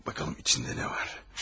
Baxalım içində nə var.